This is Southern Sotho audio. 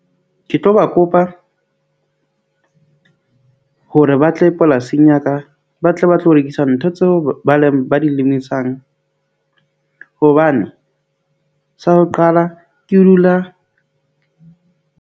Ke tlo ba kopa hore ba tle polasing ya ka ba tle ba tlo rekisa ntho tseo ba leng ba di le emisang, hobane sa ho qala ke dula.